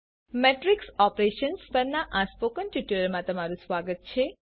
matrix operations પરના spoken ટ્યુટોરીયલમાં તમારું સ્વાગત છે